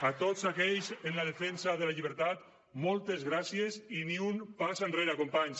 a tots aquells en la defensa de la llibertat moltes gràcies i ni un pas enrere companys